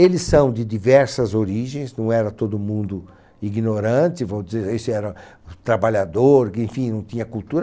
Eles são de diversas origens, não era todo mundo ignorante, vamos dizer, esse era trabalhador, enfim, não tinha cultura.